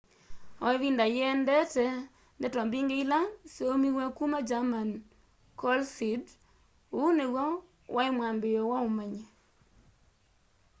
o ivinda yiendete ndeto mbingi ila syaumiw'e kuma german coalesced uu niw'o wai mwambiio wa umanyi